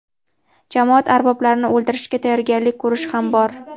jamoat arboblarini o‘ldirishga tayyorgarlik ko‘rish ham bor.